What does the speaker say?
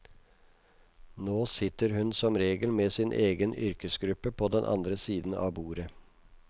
Nå sitter hun som regel med sin egen yrkesgruppe på den andre siden av bordet.